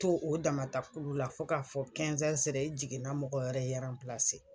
To o damatakulu la fo k'a fɔ sera i jiginna mɔgɔ wɛrɛ i